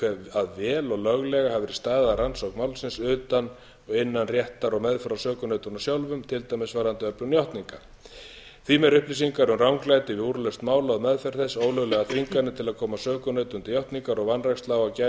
að vel og löglega hafi verið staðið að rannsókn málsins utan og innan réttar og meðferð á sökunautunum sjálfum til dæmis varðandi öflun játninga því meiri upplýsingar um ranglæti við úrlausn mála og meðferð þess ólöglegar þvinganir til að koma sökunautum til játningar og vanræksla á að gæta réttra